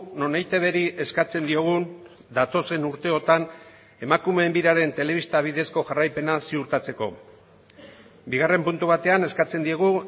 non eitbri eskatzen diogun datozen urteotan emakumeen biraren telebista bidezko jarraipena ziurtatzeko bigarren puntu batean eskatzen diegu